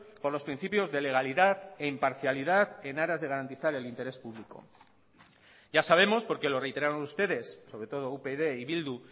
por los principios de legalidad e imparcialidad en aras de garantizar el interés público ya sabemos porque lo reiteraron ustedes sobre todo upyd y bildu